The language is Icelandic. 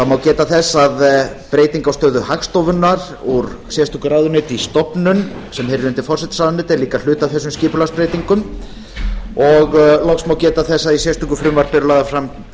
geta að breyting á stöðu hagstofunnar úr sérstöku ráðuneyti í stofnun sem heyrir undir forsætisráðuneytið er líka hluti af þessum skipulagsbreytingum loks má geta þess að í sérstöku frumvarpi eru lagðar fram